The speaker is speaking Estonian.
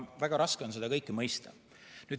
Väga raske on seda kõike mõista.